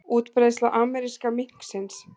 Útbreiðsla ameríska minksins